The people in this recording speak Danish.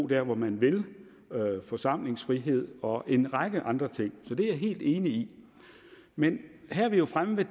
der hvor man vil forsamlingsfrihed og en række andre ting så det er jeg helt enig i men her er vi jo fremme ved